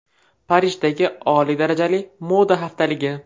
Parijdagi oliy darajali moda haftaligi .